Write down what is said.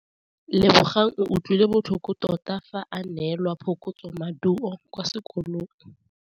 Lebogang o utlwile botlhoko tota fa a neelwa phokotsômaduô kwa sekolong.